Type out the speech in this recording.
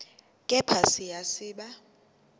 kepha siya siba